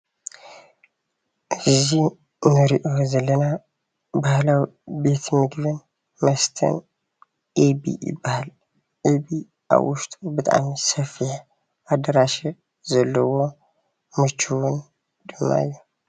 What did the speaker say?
እዚ እንር'ዮ ዘለና ባህላዊ ቤት ምግብን መስተን ኤቢ ይበሃል። ኤቢ አብ ውሽጡ ብጣዕሚ ሰፊሕ አዳራሽ ዘለዎ ምችውን ድማ እዩ።